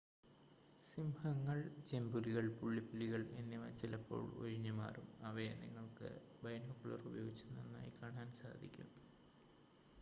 സിംഹങ്ങൾ ചെമ്പുലികൾ പുള്ളിപ്പുലികൾ എന്നിവ ചിലപ്പോൾ ഒഴിഞ്ഞ് മാറും അവയെ നിങ്ങൾക്ക് ബൈനോക്കുലർ ഉപയോഗിച്ച് നന്നായി കാണാൻ സാധിക്കും